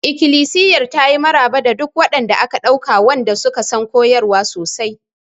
Ikilisiyar ta yi maraba da duk waɗanda aka ɗauka wanda suka san koyarwa sosai.